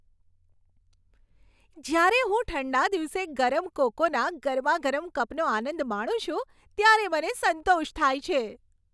જ્યારે હું ઠંડા દિવસે ગરમ કોકોના ગરમાગરમ કપનો આનંદ માણું છું ત્યારે મને સંતોષ થાય છે.